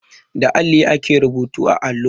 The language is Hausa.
Da alli ake rubutu a allo.